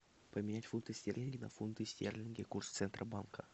поменять фунты стерлинги на фунты стерлинги курс центробанка